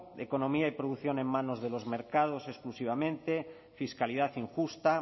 economía y producción en manos de los mercados exclusivamente fiscalidad injusta